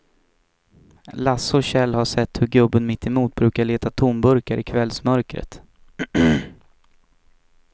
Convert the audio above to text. Lasse och Kjell har sett hur gubben mittemot brukar leta tomburkar i kvällsmörkret.